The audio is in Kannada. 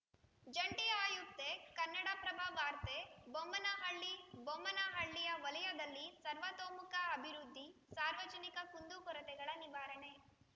ಜಂಟಿ ಆಯುಕ್ತೆ ಕನ್ನಡಪ್ರಭ ವಾರ್ತೆ ಬೊಮ್ಮನಹಳ್ಳಿ ಬೊಮ್ಮನಹಳ್ಳಿ ವಲಯದಲ್ಲಿ ಸರ್ವತೋಮುಖ ಅಭಿವೃದ್ಧಿ ಸಾರ್ವಜನಿಕ ಕುಂದುಕೊರತೆಗಳ ನಿವಾರಣೆ